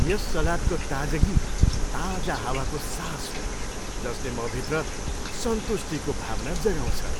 यस सलादको ताजगी ताजा हावाको सास हो जसले मभित्र सन्तुष्टिको भावना जगाउँछ।